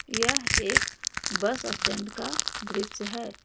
यह एक bus stand का दृश्य है।